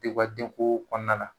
U ka denko kɔnɔna na